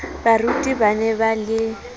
baruti ba ne ba le